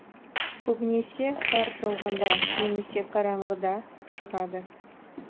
көбінесе қар жауганда немесе қаранғыда шығыды